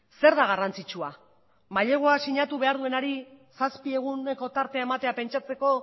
zer da garrantzitsua mailegua sinatu behar duenari zazpi eguneko tartea ematea pentsatzeko